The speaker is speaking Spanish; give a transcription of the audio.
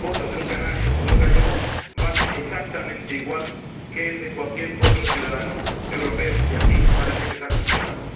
Y el voto de un canario o de un gallego vale exactamente igual que el de cualquier otro ciudadano europeo, y aquí parece que se ha cuestionado.